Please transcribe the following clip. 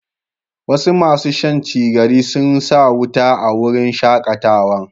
Wasu masun Shan cigari sun sa wuta a wurin shakatawan.